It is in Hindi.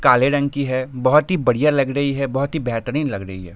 काले रंग की है बहुत ही बड़ियाँ लग रही है बहुत ही बेहतरीन लग रही है।